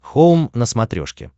хоум на смотрешке